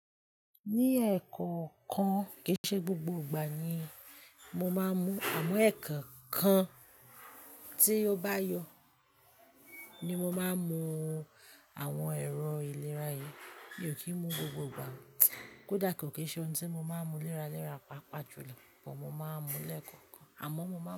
Ní ẹ̀ẹ̀kookan kìí ṣe gbogbo ìgbà ni mo máa ń mu. Àmọ́ ẹ̀ẹ̀kookan tí ó bá yọ ni mo máa ń mu àwọn ẹ̀rọ ìlera yìí, mi ò kì í mu gbogbo ìgbà. Kódà kì í ṣe ohun tí mo máa ń mu léra léra, pàápàá jùlọ, but mo máa ń mu lẹ́ẹ̀kokan. Àmọ́ mo máa ń.